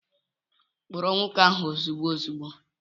Kpụrụ nwoke ahụ ozugbo ozugbo!